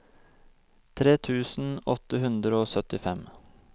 tre tusen åtte hundre og syttifem